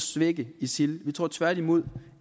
svække isil vi tror tværtimod